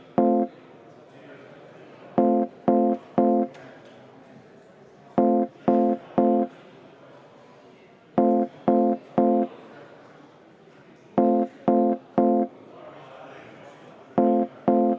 Riigikogu avaldus "Demokraatia ja kodanikuühiskonna toetuseks Valgevenes" on vastu võetud.